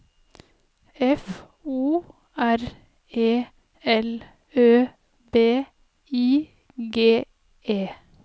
F O R E L Ø B I G E